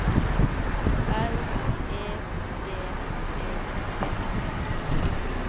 L E D E T